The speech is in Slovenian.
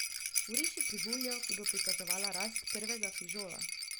Vriši krivuljo, ki bo prikazovala rast prvega fižola.